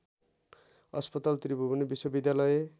अस्पताल त्रिभुवन विश्वविद्यालय